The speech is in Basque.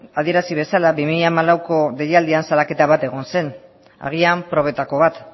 adierazi bezala bi mila hamalauko deialdian salaketa bat egon zen agian probetako bat